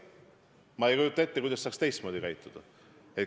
Ma ei kujuta ette, kuidas saaks teistmoodi käituda.